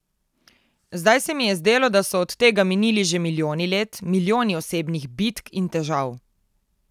Zdaj se mi je zdelo, da so od tega minili že milijoni let, milijoni osebnih bitk in težav.